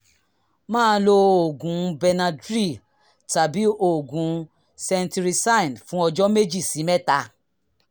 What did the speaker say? máa lo oògùn benadryl tàbí oògùn cetirizine fún ọjọ́ méjì sí mẹ́ta